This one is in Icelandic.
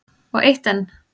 Og eitt enn.